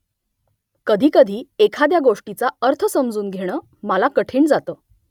कधीकधी एखाद्या गोष्टीचा अर्थ समजून घेणं मला कठीण जातं